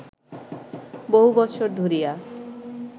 বহু বৎসর ধরিয়া